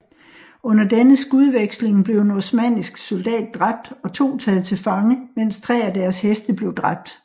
Under denne skudveksling blev en osmannisk soldat dræbt og to taget til fange mens tre af deres heste blev dræbt